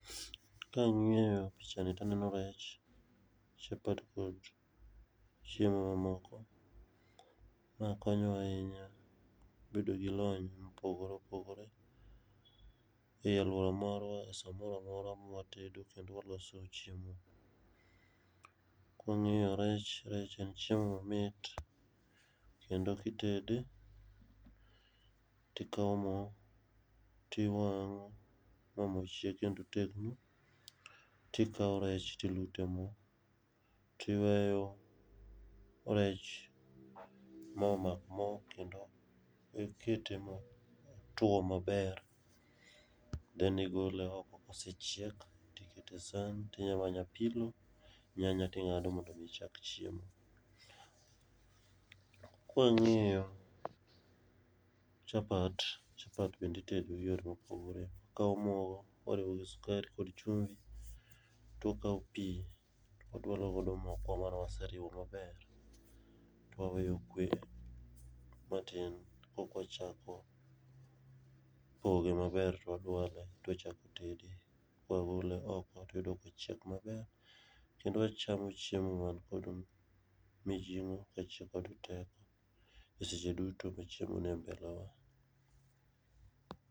Kang'iyo picha ni to aneno rech, chapat kod chiemo mamoko. Ma konyo wa ahinya bedo gi lony mopogore opogore ei aluora marwa e samoro amora ma watedo kendo waloso chiemo. Ka wang'iyo rech, rech en chiemo mamit kendo kitede to ikawo mo to iwang'o, mo mochiek kendo otegno. To ikawo rech to iluto e mo to iweyo rech ma mak mo kendo ikete motwo maber then igole oko ka osechiek to ikete esan to imanyo apilo nyanya to ing'ado mondo mi ichak chiemo. Ka wang'iyo chapat chapat bende itedo giyore mopogore. Ikawo mogo iriwo gi sukari kod chumbi, to ikawo pi to idwalo godo mokwa mane waseriwo maber to waweye okwe matin ko ka wachako poge maber to wadwale to wachako tede. Ka wagole oko to wayudo kochiek maber kendo wachamo chiemo man kod mijing'o kendo man gi teko eseche duto ma chiemo nie mbele wa.